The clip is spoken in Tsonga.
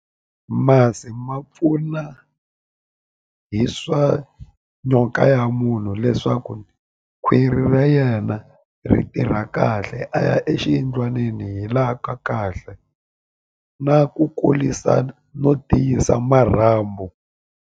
Masi ma pfuna hi swa nyoka ya munhu leswaku khwiri ra yena ri tirha kahle a ya exiyindlwanini hi laha ka kahle na ku kurisa no tiyisa marhambu.